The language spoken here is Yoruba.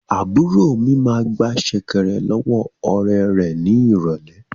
Àbúrò mi máa gba sẹ̀kẹ̀rẹ̀ lọ́wọ́ ọ̀rẹ́ rẹ̀ ní ìrọ̀lẹ́